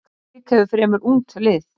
Njarðvík hefur fremur ungt lið.